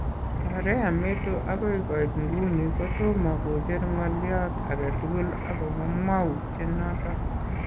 Korea meto akoi koit nguni kotomo kocher ng'olyot agetugul akobo mwawuutye noton .